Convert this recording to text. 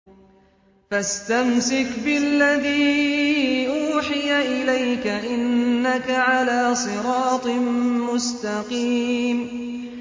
فَاسْتَمْسِكْ بِالَّذِي أُوحِيَ إِلَيْكَ ۖ إِنَّكَ عَلَىٰ صِرَاطٍ مُّسْتَقِيمٍ